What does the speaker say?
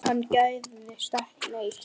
Hann gægðist ekki neitt.